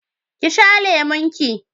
ki sha lemon ki!